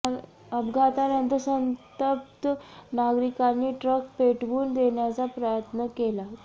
अपघातानंतर संतप्त नागरिकांनी ट्रक पेटवून देण्याचा प्रयत्न केला